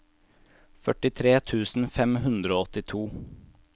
førtitre tusen fem hundre og åttito